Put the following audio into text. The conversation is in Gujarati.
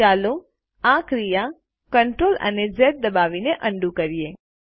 ચાલો આ ક્રિયા CTRL અને ઝ દબાવીને અન્ડું કરીએ